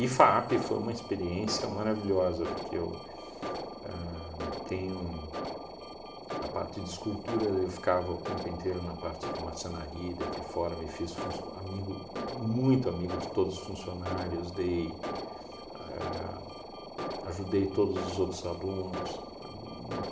E FAAP foi uma experiência maravilhosa, porque eu ahn tenho a parte de escultura eu ficava o tempo inteiro na parte de marcenaria, daí para fora, me fiz func amigo muito amigo de todos os funcionários, dei ahn, ajudei todos os outros alunos. Uma